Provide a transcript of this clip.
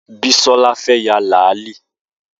Bisola fẹ́ ya làálí